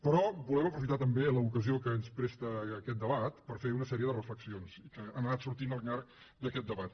però volem aprofitar també l’ocasió que ens presta aquest debat per fer una sèrie de reflexions que han anat sortint al llarg d’aquest debat